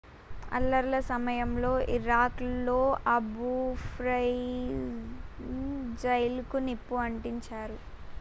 అల్లర్ల సమయంలో ఇరాక్ లోని Abu Ghraib జైలుకు నిప్పు అంటించారు